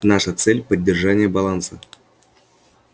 наша цель поддержание баланса